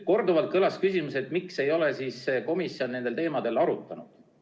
Korduvalt kõlas küsimus, miks ei ole komisjon nendel teemadel arutanud.